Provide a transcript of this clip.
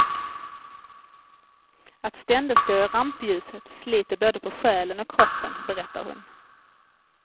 Att ständigt stå i rampljuset sliter både på själen och kroppen, berättar hon.